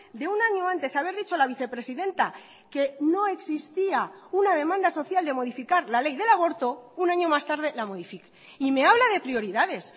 de un año antes a ver dicho la vicepresidenta que no existía una demanda social de modificar la ley del aborto un año más tarde la modifica y me habla de prioridades